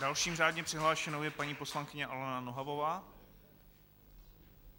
Další řádně přihlášenou je paní poslankyně Alena Nohavová.